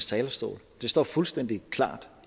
talerstol det står fuldstændig klart